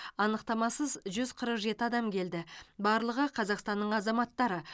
анықтамасыз жүз қырық жеті адам келді барлығы қазақстанның азаматтары